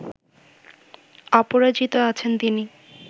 অপরাজিত আছেন তিনি